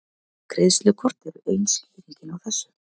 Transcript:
Greiðslukort eru ein skýringin á þessu.